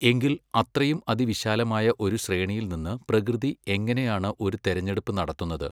എങ്കിൽ അത്രയും അതിവിശാലമായ ഒരു ശ്രേണിയിൽനിന്ന് പ്രകൃതി എങ്ങനെയാണ് ഒരു തെരഞ്ഞെടുപ്പ് നടത്തുന്നത്?